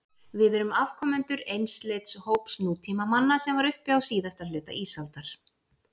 Við erum afkomendur einsleits hóps nútímamanna sem var uppi á síðasta hluta ísaldar.